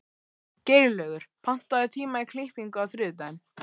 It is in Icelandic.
Geirlaugur, pantaðu tíma í klippingu á þriðjudaginn.